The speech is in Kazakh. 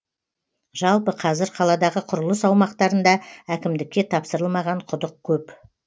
жалпы қазір қаладағы құрылыс аумақтарында әкімдікке тапсырылмаған құдық көп